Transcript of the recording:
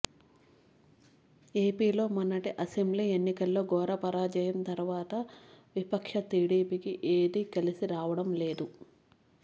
ఏపీలో మొన్నటి అసెంబ్లీ ఎన్నికల్లో ఘోర పరాజయం తర్వాత విపక్ష టీడీపీకి ఏదీ కలిసి రావడం లేదు